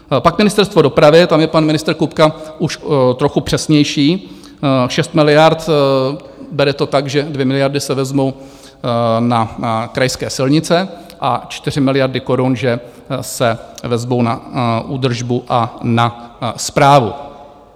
Pak Ministerstvo dopravy, tam je pan ministr Kupka už trochu přesnější, šest miliard, bere to tak, že dvě miliardy se vezmou na krajské silnice a čtyři miliardy korun, že se vezmou na údržbu a na správu.